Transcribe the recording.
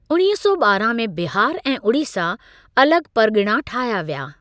उणिवीह सौ ॿारहां में बिहार ऐं उड़ीसा अलॻ परिॻिणा ठाहिया विया।